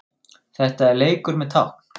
Þetta er leikur með tákn